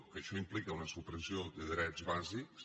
que això implica una supressió de drets bàsics